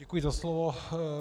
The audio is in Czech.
Děkuji za slovo.